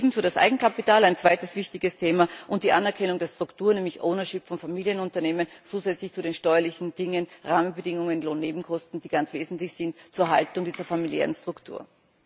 Ebenso das Eigenkapital ein zweites wichtiges Thema und die Anerkennung der Strukturen, nämlich Ownership von Familienunternehmen, zusätzlich zu den steuerlichen Dingen, Rahmenbedingungen, Lohnnebenkosten, die ganz wesentlich sind für die Erhaltung dieser familiären Strukturen.